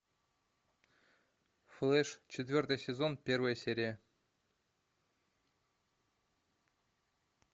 флэш четвертый сезон первая серия